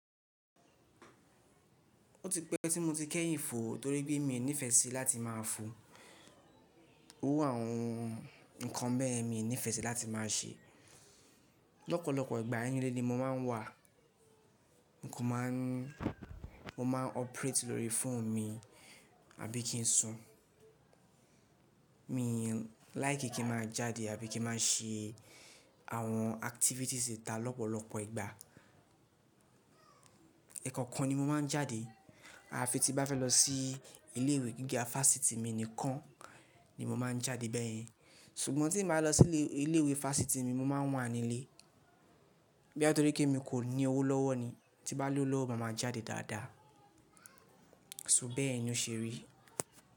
Ó ti pẹ́ tí mo ti kẹ́yìn fo, torí pé mi ò nífẹẹ sí láti má a fo. Owó àwọn nnkan bẹ́ẹ̀ mi ò nífẹẹ sí láti má a ṣe. Lọ́pọ̀lọ́pọ̀ ìgbà ẹni lé lé ni mo máa ń wà. N kò máa ń-- mo máa ń operate lórí fóònù mi àbí kí n sun. Mi láì kí kí ma jáde àbí kí ma ṣe àwọn activities ita lọ́pọ̀lọ́pọ̀ ìgbà. Ẹ̀kọ̀kan ni mo máa ń jáde. À fi tí bá fẹ́ lọ sí ilé ìwé gíga fáṣítì mi nìkan ni mo máa ń jáde bẹ́ẹ̀ yẹn. Ṣùgbọ́n tí n bá lọ sí ilé ìwé fáṣítì mi, mo máa wà nílé. Bóyâ nítorí pé mi kò ní owó lọ́wọ́ ni. Tí bá lówó lọ́wọ́, màá máa jáde dáadáa. So bẹ́ẹ̀ yẹn ni ò ṣe rí.